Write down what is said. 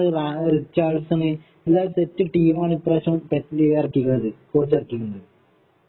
റിച്ചാൽസന് എല്ലാരും സെറ്റ് ടീമാണ് ഇപ്രാവശ്യം പെറ്റ് ലീവാർക്കി ഉള്ളത് കോച്ച് ഇറക്കിട്ടുണ്ട്